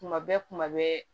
Kuma bɛɛ kuma bɛɛ